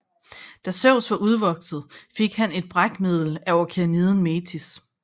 Da Zeus var udvokset fik han et brækmiddel af okeaniden Metis